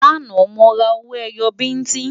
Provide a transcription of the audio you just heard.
lànà, mó rà owó ẹyọ biti